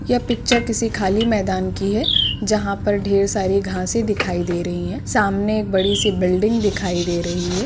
यह पिक्चर किसी खाली मैदान की है जहाँ पर ढेर सारी घासें दिखाई दे रही हैं सामने एक बड़ी सी बिल्डिंग दिखाई दे रही है।